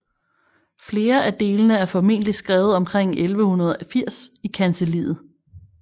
Flere af delene er formentligt skrevet omkring 1180 i kancelliet